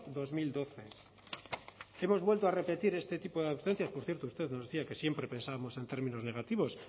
dos mil doce hemos vuelto a repetir este tipo de por cierto usted nos decía que siempre pensábamos en términos negativos